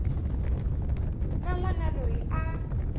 na n wana loyi a